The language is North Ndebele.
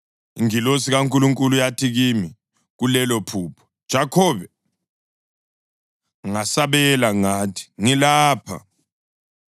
Ingilosi kaNkulunkulu yathi kimi kulelophupho, ‘Jakhobe.’ Ngasabela ngathi, ‘Ngilapha.’